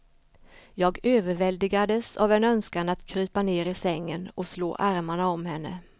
Jag överväldigades av en önskan att krypa ner i sängen och slå armarna om henne.